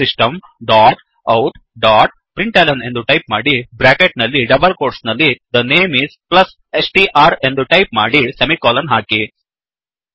system dot out dot println ಎಂದು type ಮಾಡಿ bracket ನಲ್ಲಿ ಡಬಲ್ ಕೋಟ್ಸ್ ನಲ್ಲಿ the name is plus str ಎಂದು ಟೈಪ್ ಮಾಡಿ ಸೆಮಿಕೋಲನ್ ಹಾಕಿ